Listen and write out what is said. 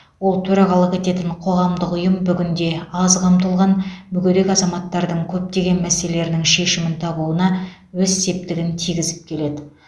ол төрағалық ететін қоғамдық ұйым бүгінде аз қамтылған мүгедек азаматтардың көптеген мәселелерінің шешімін табуына өз септігін тигізіп келеді